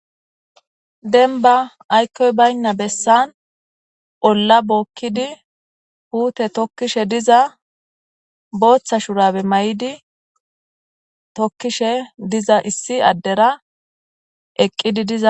Demibba ayikoyi bayina bessani olla bokidi pute tokishe dizza botha shurabe mayidi tokishe diza issi adera eqidi diza